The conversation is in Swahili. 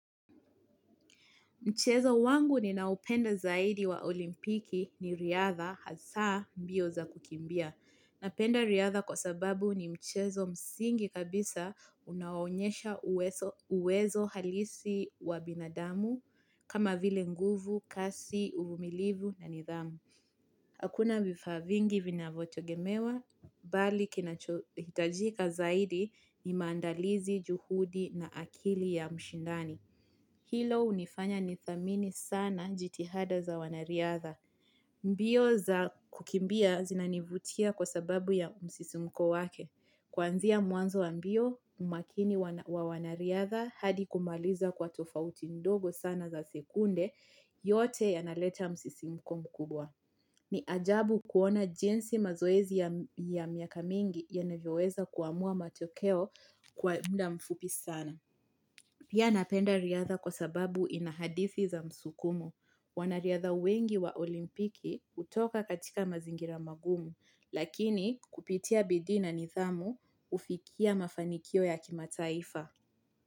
Mchezo wangu ni naopenda zaidi wa olimpiki ni riatha hasaa mbio za kukimbia. Napenda riadha kwa sababu ni mchezo msingi kabisa unaoonyesha uwezo halisi wa binadamu kama vile nguvu, kasi, uvumilivu na nidhamu. Hakuna vifaa vingi vina vyote gemewa, bali kinachohitajika zaidi ni maandalizi juhudi na akili ya mshindani. Hilo unifanya ni thamini sana jitihada za wanariadha. Mbio za kukimbia zinanivutia kwa sababu ya msisi mko wake. Kwanzia muanzo wa mbio umakini wa wanariadha hadi kumaliza kwa tofauti ndogo sana za sekunde yote yanaleta msisi mko mkubwa. Ni ajabu kuona jinsi mazoezi ya miaka mingi ya navyoweza kuamua matokeo kwa mda mfupi sana. Pia napenda riadha kwa sababu inahadithi za msukumo. Wanariadha wengi wa olimpiki utoka katika mazingira magumu, lakini kupitia bidii na nithamu ufikia mafanikio ya kimataifa.